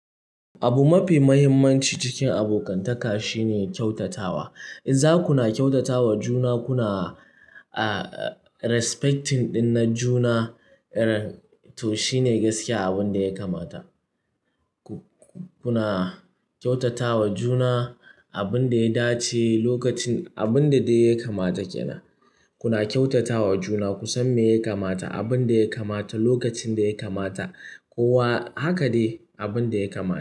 Abu mafi muhimmanci cikin abokantaka shine kyautatawa. In za ku na kyautata wa juna, kuna respecting ɗin na juna, to shine gaskiya abin da ya kamata. Kuna kyautata wa juna abin da ya dace, lokacin abin da dai ya kamata ke nan. Kuna kyautata wa juna, ku san me ya kamata, abinda ya kamata, lokacin da ya kamata, kowa haka dai abin da ya kamata.